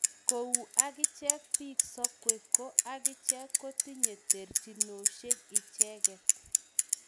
kou akichek pik sokwe ko akichek kotinye terchinosiekmen icheget.